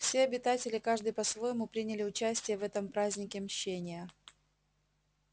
все обитатели каждый по-своему приняли участие в этом празднике мщения